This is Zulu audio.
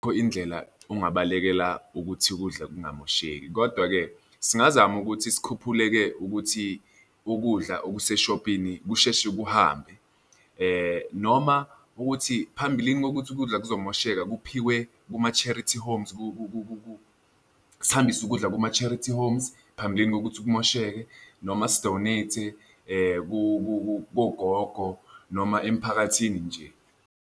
indlela ongabalekela ukuthi ukudla kungamosheki, kodwa-ke singazama ukuthi sikhuphule-ke ukuthi ukudla okuseshophini kusheshe kuhambe noma ukuthi phambilini kokuthi ukudla kuzomosheka kuphiwe kuma-charity homes, sihambise ukudla kuma-charity homes phambilini kokuthi kumosheke, noma si-donate-e kogogo noma emphakathini nje.